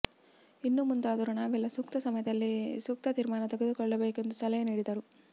ಇನ್ನು ಮುಂದಾದರೂ ನಾವೆಲ್ಲ ಸೂಕ್ತ ಸಮಯದಲ್ಲಿ ಸೂಕ್ತ ತೀರ್ಮಾನ ತೆಗೆದುಕೊಳ್ಳಬೇಕು ಎಂದು ಸಲಹೆ ನೀಡಿದರು